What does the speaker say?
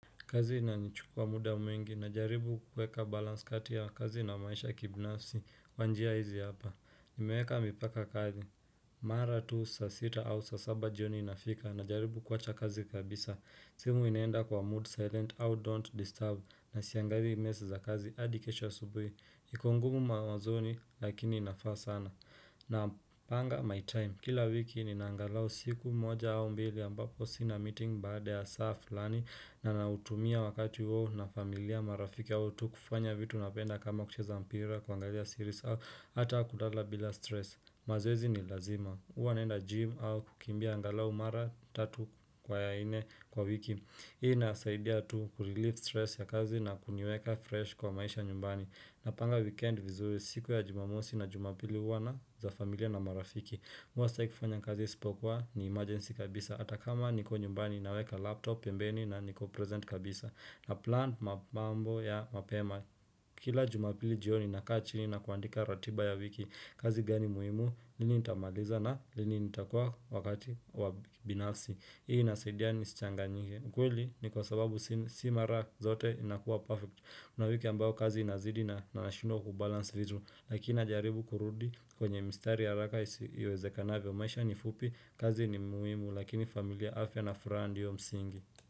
Kazi inanichukua muda mwingi na jaribu kuueka balance kati ya kazi na maisha kibinafsi kwa njia hizi hapa. Nimeweka mipaka kazi. Mara tu saa sita au saa saba jioni inafika najaribu kuwacha kazi kabisa. Simu inaenda kwa mood silent au don't disturb na siangali meseji za kazi hadi kesho asubuhi. Iko ngumu mawazoni lakini inafaa sana. Na panga my time. Kila wiki nina angalau siku moja au mbili ambapo sina meeting baada ya saa fulani na nautumia wakati huo na familia marafiki au tu kufanya vitu napenda kama kucheza mpira kuangalia siris au ata kulala bila stress. Mazoezi ni lazima. Huwa naenda gym au kukimbia angalau mara tatu kwa nne kwa wiki. Hii inasaidia tu kurelieve stress ya kazi na kuniweka fresh kwa maisha nyumbani. Napanga weekend vizuri siku ya jumamosi na jumapili huwa ni za familia na marafiki. Mimi huwa sitaki kufanya kazi isipokuwa ni emergency kabisa hata kama niko nyumbani naweka laptop, pembeni na niko present kabisa na plan mambo ya mapema Kila jumapili jioni nakaa chini na kuandika ratiba ya wiki kazi gani muhimu, lini nitamaliza na lini nitakua wakati wa binafsi Hii inasaidia nisichangiwe ukweli ni kwa sababu si mara zote inakuwa perfect kuna wiki ambao kazi inazidi na nashindwa kubalansi vitu Lakini jaribu kurudi kwenye mistari haraka iwezekanavyo maisha ni fupi kazi ni muhimu lakini familia afya na furaha ndiyo msingi.